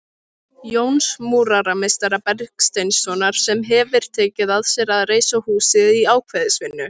Jóns múrarameistara Bergsteinssonar, sem hefir tekið að sér að reisa húsið í ákvæðisvinnu.